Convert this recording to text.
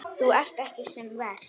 Þú ert ekki sem verst.